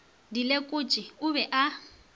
di lekotše o be a